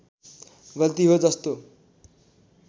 गल्ती हो जस्तो